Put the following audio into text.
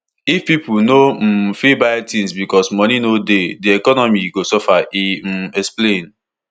if pipo no um fit buy tins becos money no dey di economy go suffer e um explain